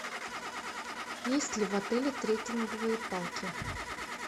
есть ли в отеле трекинговые палки